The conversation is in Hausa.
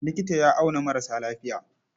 Likita ya auna maras lafiya.